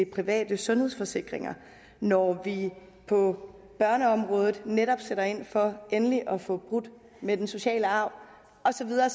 private sundhedsforsikringer når vi på børneområdet netop sætter ind for endelig at få brudt den sociale arv og så videre